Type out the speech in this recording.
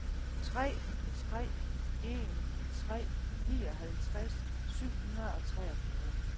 tre tre en tre nioghalvtreds syv hundrede og treogfyrre